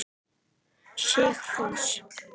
Sigfús